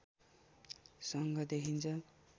सङ्घ देखिन्छ